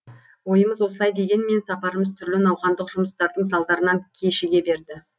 ойымыз осылай дегенмен сапарымыз түрлі науқандық жұмыстардың салдарынан кешіге берді